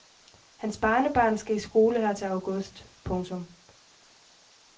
Hans barnebarn skal i skole her til august. punktum